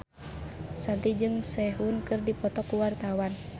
Shanti jeung Sehun keur dipoto ku wartawan